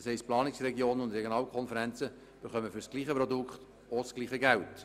Das heisst Planungsregionen und Regionalkonferenzen erhalten für das gleiche Produkt gleich viel Geld.